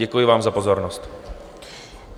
Děkuji vám za pozornost.